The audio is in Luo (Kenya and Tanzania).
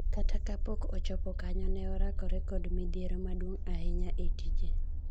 Kata kapok ochopo kanyo, nene orakore kod midhiero maduong ahinya e tije.